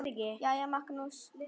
Jæja, Magnús.